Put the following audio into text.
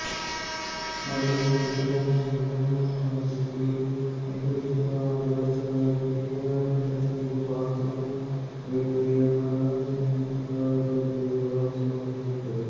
ಮಲ್ಲಯ್ಯ ಇಬ್ಬರನ್ನು ವಿವಾಹವಾಗಿದ್ದು ನಿವೃತ್ತಿಯ ಬಳಿಕ ಕಿರಿಯ ಹೆಂಡತಿ ಭಾಗ್ಯಮ್ಮ ಜೊತೆ ಮಲ್ಲಸಂದ್ರದಲ್ಲಿ ವಾಸವಾಗಿದ್ದರು